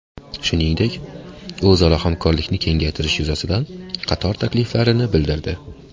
Shuningdek, o‘zaro hamkorlikni kengaytirish yuzasidan qator takliflarini bildirdi.